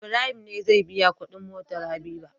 Ibrahim ne zai biya Ƙudin motar habiba